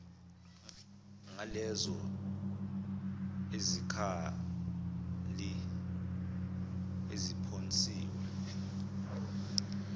ngalezo zikhali eziphonsiwe